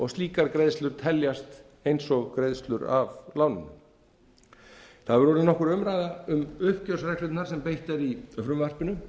slíkar greiðslur teljast eins og greiðslur af láninu það hefur orðið nokkur umræða um uppgjörsreglurnar sem beitt er í frumvarpinu